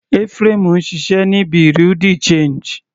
Ephraim ń ṣiṣẹ́ ní Bereau de change.